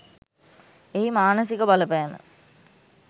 එහි මානසික බලපෑම